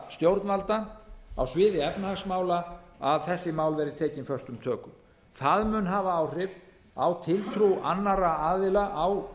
stjórnvalda á sviði efnahagsmála að þessi mál verði tekin föstum tökum það mun hafa áhrif á tiltrú annarra aðila á